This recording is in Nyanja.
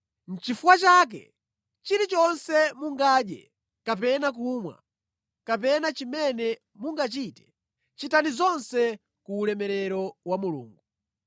Nʼchifukwa chake chilichonse mungadye kapena kumwa, kapena chimene mungachite, chitani zonse ku ulemerero wa Mulungu.